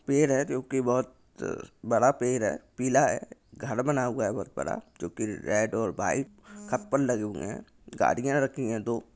पेड़ है जोकि बहुत त बड़ा पेड़ है पीला है घर बना हुआ है बहुत बड़ा जोकि रेड और व्हाइट लगे हुए है गाड़िया रखी है दो।